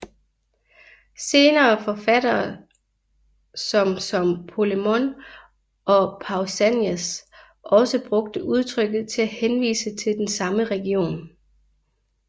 Senere forfattere som som Polemon og Pausanias også brugte udtrykket til at henvise til den samme region